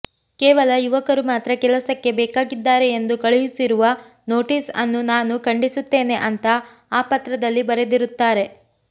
ಕೇವಲ ಯುವಕರು ಮಾತ್ರ ಕೆಲಸಕ್ಕೆ ಬೇಕಾಗಿದ್ದಾರೆ ಎಂದು ಕಳುಹಿಸಿರುವ ನೋಟೀಸ್ ಅನ್ನು ನಾನು ಖಂಡಿಸುತ್ತೇನೆ ಅಂತ ಆ ಪತ್ರದಲ್ಲಿ ಬರೆದಿರುತ್ತಾರೆ